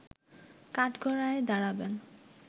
কাঠগড়ায় দাঁড়াবেন